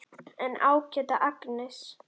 En ágæta Agnes.